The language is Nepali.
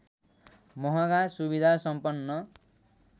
महँगा सुविधा सम्पन